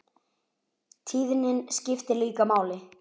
Tíðnin skiptir líka máli.